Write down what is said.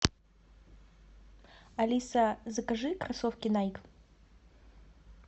алиса закажи кроссовки найк